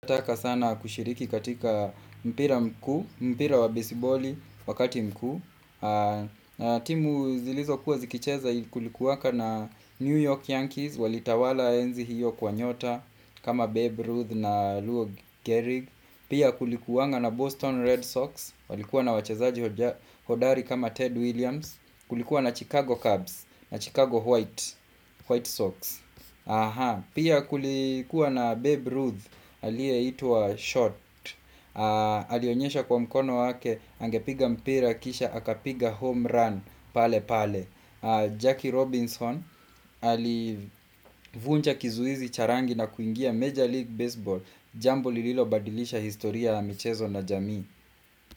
Nataka sana kushiriki katika mpira mkuu, mpira wa bisiboli wakati mkuu timu zilizo kuwa zikicheza kulikuaka na New York Yankees Walitawala enzi hiyo kwa nyota kama Babe Ruth na Lou Gehrig Pia kulikuanga na Boston Red Sox, walikuwa na wachezaji hodari kama Ted Williams Kulikuwa na Chicago Cubs, na Chicago White Sox Pia kulikuwa na Babe Ruth haliye itua Short Alionyesha kwa mkono wake angepiga mpira kisha akapiga home run pale pale Jackie Robinson hali vunja kizuizi charangi na kuingia Major League Baseball Jambo lililo badilisha historia la michezo na jamii.